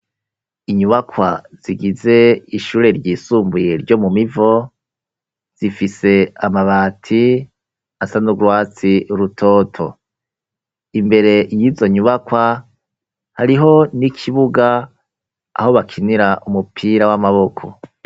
Inyubakwa zigize ishure ryisumbuye ryo mu Mivo, zifise amabati asa n'urwatsi rutoto. Imbere y'izo nyubakwa hariho n'ikibuga, aho bakinira umupira w'amaboko.